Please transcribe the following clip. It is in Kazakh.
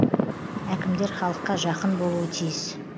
әкімдер халыққа жақын болуы тиіс